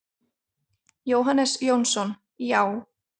Jóhannes Jónsson: Já.